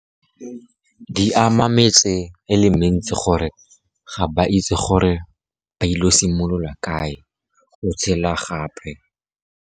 Di ama metse e le mentsi, gore ga ba itse gore ba ile go simolola kae go tshela gape.